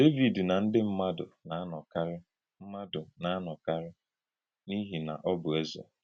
Dévìd na ndí mmádụ na-anọ̀karì mmádụ na-anọ̀karì n’ìhì na ọ bụ̀ Ézè.